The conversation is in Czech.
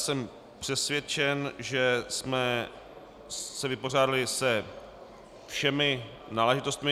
Jsem přesvědčen, že jsme se vypořádali se všemi záležitostmi.